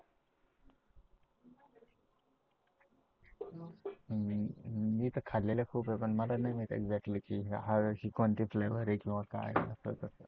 मी तर खाल्लेले खूप आहे, पण मला नाही माहित एक्झॅक्टली ही कोंची फ्लेव्हर लय भारी आहे असं तसं